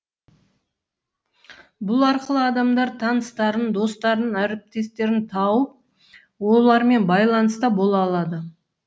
бұл арқылы адамдар таныстарын достарын әріптестерін тауып олармен байланыста бола алады